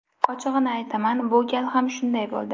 Ochig‘ini aytaman, bu gal ham shunday bo‘ldi.